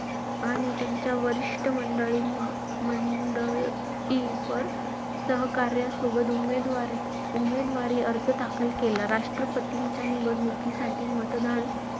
आणि त्यांच्या वरिष्ठ म~ मंडळी~ मंडळींवर, सहकाऱ्यांसोबत उमेद~ उमेदवारी अर्ज दाखल केला. राष्ट्रपतींच्या निवडणुकीसाठी मतदान,